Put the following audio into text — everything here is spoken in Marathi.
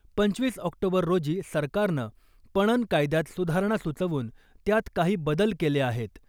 पंचवीस ऑक्टोबर रोजी सरकारनं पणन कायद्यात सुधारणा सुचवून त्यात काही बदल केले आहेत .